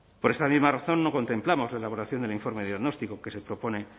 por esa misma razón no contemplamos la elaboración del informe diagnóstico que se propone